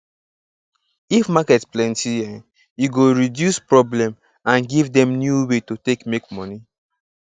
if market plenty e go reduce problem and give dem new way to take make money